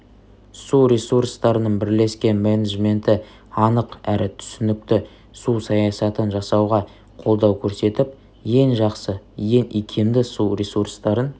су ресурстарының бірлескен менеджменті анық әрі түсінікті су саясатын жасауға қолдау көрсетіп ең жақсы ең икемді су ресурстарын